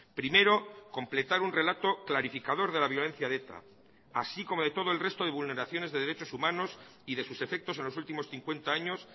primero completar un relato clarificador de la violencia de eta así como de todo el resto de vulneraciones de derechos humanos y de sus efectos en los últimos cincuenta años